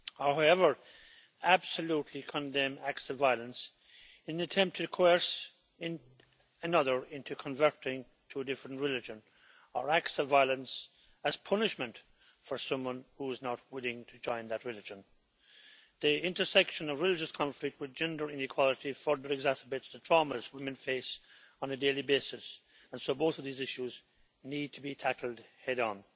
However, I absolutely condemn acts of violence in an attempt to coerce another into converting to a different religion, or acts of violence as punishment for someone who is not willing to join that religion. The intersection of religious conflict with gender inequality further exacerbates the traumas women face on a daily basis, and so both of these issues need to be tackled head on.